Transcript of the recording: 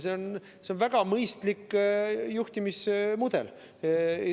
See on väga mõistlik juhtimismudel.